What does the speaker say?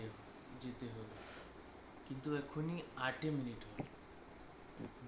কিন্তু একেহ্ন আট minute হইনি